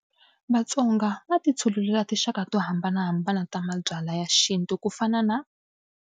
Vatsonga va titshulele tinxaka to hambanahambana ta mabyalwa ya xintu ku fana na.